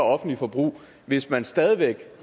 offentligt forbrug hvis man stadig væk